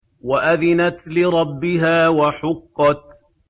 وَأَذِنَتْ لِرَبِّهَا وَحُقَّتْ